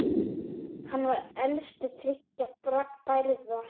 Hann var elstur þriggja bræðra.